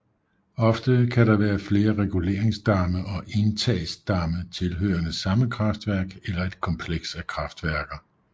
Ofte kan der være flere reguleringsdamme og indtagsdamme tilhørende samme kraftværk eller et kompleks af kraftværker